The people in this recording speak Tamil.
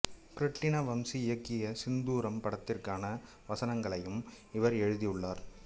கிருட்டிண வம்சி இயக்கிய சிந்தூரம் படத்திற்கான வசனங்களையும் இவர் எழுதியுள்ளார்